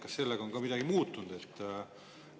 Kas sellega seoses on ka midagi muutunud?